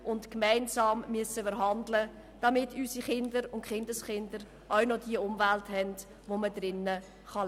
Wir müssen gemeinsam handeln, damit unsere Kinder und Kindeskinder auch noch eine Umwelt haben, in der man leben kann.